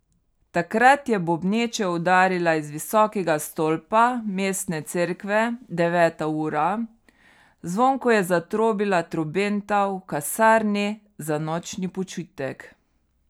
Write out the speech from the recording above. Takrat je bobneče udarila iz visokega stolpa mestne cerkve deveta ura, zvonko je zatrobila trobenta v kasarni za nočni počitek.